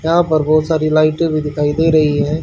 यहां पर बहुत सारी लाइटे भी दिखाई दे रही है।